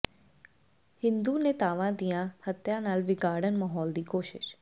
ਹਿੰਦੂ ਨੇਤਾਵਾਂ ਦੀਆਂ ਹੱਤਿਆਂ ਨਾਲ ਵਿਗਾੜਨ ਮਾਹੌਲ ਦੀ ਕੋਸ਼ਿਸ਼